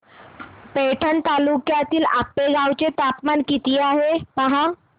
पैठण तालुक्यातील आपेगाव चं तापमान किती आहे पहा